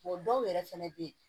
dɔw yɛrɛ fɛnɛ bɛ ye